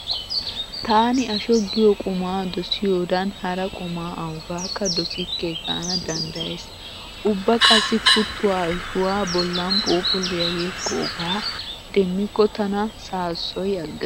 Taani asho giyo qumaa dosiyodan hara qumaa awugaakka dosikke gaana danddayays. Ubba qassi kuttuwa ashuwa bollan phuuphulliya yeggoogaa demmikko tana saassoyi aggees.